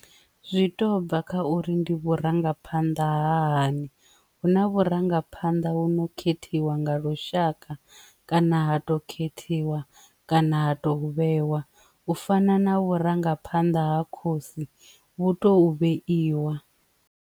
Zwi to bva kha uri ndi vhurangaphanḓa ha hani hu na vhurangaphanḓa hu no khethiwa nga lushaka kana ha to khethiwa kana ha to vhewa u fana na vhurangaphanḓa ha khosi vhu to vheiwa.